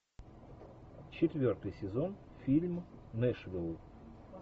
четвертый сезон фильм нэшвилл